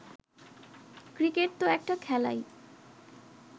cricket তো একটা খেলাই